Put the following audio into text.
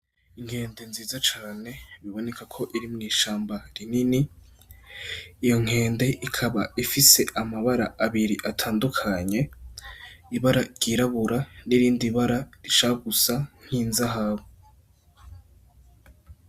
Inkende nziza cane biboneka ko iri mw'ishamba rinini, iyo nkende ikaba ifise amabara abiri atandukanye, ibara ryirabura n'irindi bara rishaka gusa nk'inzahabu.